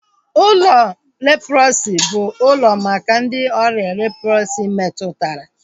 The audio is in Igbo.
Ụlọ leprọsi bụ ụlọ maka ndị ọrịa leprọsi metụtara